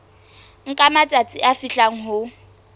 nka matsatsi a fihlang ho